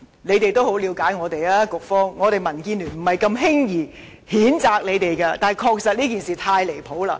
局方很了解我們，民建聯是不會輕易譴責他們的，但這事件確實太過分了。